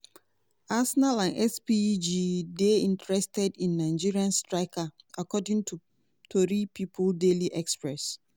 arsenal and spg dey interested in nigerian striker according to tori pipo daily express.